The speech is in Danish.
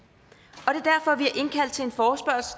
og